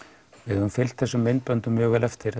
við höfum fylgt þessum myndböndum mjög vel eftir